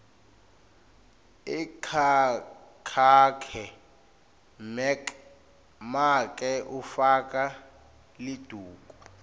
ekhakhakhe make ufaka liduku